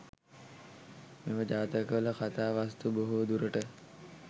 මෙම ජාතකවල කතා වස්තු බොහෝ දුරට